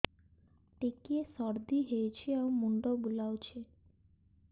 ଟିକିଏ ସର୍ଦ୍ଦି ହେଇଚି ଆଉ ମୁଣ୍ଡ ବୁଲାଉଛି